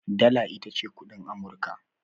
Dala ita ce kuɗin ƙasar Amurka.